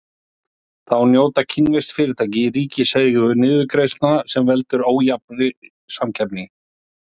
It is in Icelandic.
Þá njóta kínversk fyrirtæki í ríkiseigu niðurgreiðslna sem veldur ójafnri samkeppni.